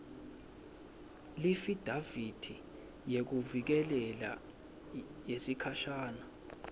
leafidavithi yekuvikeleka yesikhashana